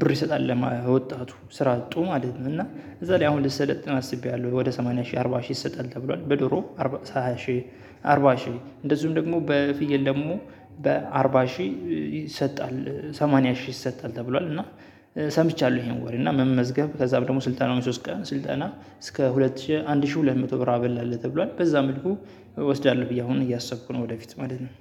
ብር ይሰጣል ለወጣቱ ስራ አጡ ማለት ነው እና እዛ ላይ አሁን ልሰለጥን አስቤያለሁ። ወደ ሰማንያ ሺህ አርባ ሺህ ይሰጣል ተብሏል በዶሮ ሃያ ሽ አርባ ሺህ እንደዚሁም ደግሞ በፍየል ደግሞ በአርባ ሺህ ይሰጣል ሰማንያ ሺህ ይሰጣል ተብሏል እና ሰምቻለሁ ይሄን ወሬ እና መመዝገብ ከዛ በኋላ ደግሞ ስልጠናውን ሶስት ቀን ስልጠና እስከ ሁለት ሺህ አንድ ሺህ ሁለት መቶ ብር አበል አለ ተብሏል በዛ መልኩ እወስዳለሁ ብዬ አሁን እያሰብኩ ነው ወደፊት ማለት ነው።